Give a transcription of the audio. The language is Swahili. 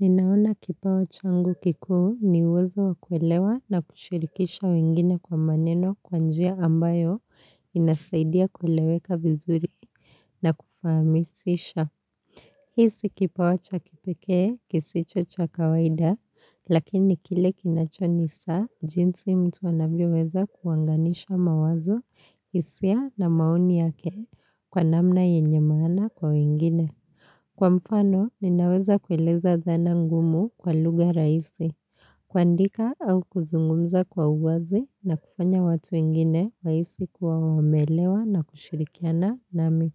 Ninaona kipawa changu kikuu ni uwezo wakuelewa na kushirikisha wengine kwa maneno kwa. Njia ambayo inasaidia kuleweka vizuri na kufahamisisha. Hii si kipawa cha kipekee kisicho cha kawaida lakini kile kinachonisa jinsi mtu anavyoweza kuanganisha mawazo hisia na mapni yake kwa namna yenye maana kwa wengine. Kwa mfano, ninaweza kueleza zana ngumu kwa lugha raisi, kuandika au kuzungumza kwa uwazi na kufanya watu wengine wahisi kuwa wameelewa na kushirikiana nami.